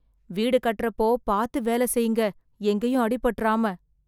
வீடு கட்டறப்போ பாத்து வேல செய்யுங்க, எங்கயும் அடி பட்டுறாம.